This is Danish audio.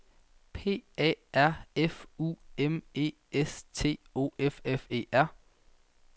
P A R F U M E S T O F F E R